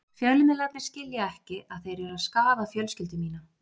Fjölmiðlarnir skilja ekki að þeir eru að skaða fjölskyldu mína.